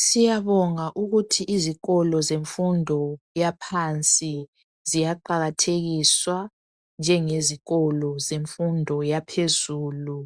Siyabonga ukuthi izikolo zemfundo yaphansi ziyaqakathekiswa njengezikolo zemfundo yaphezulu.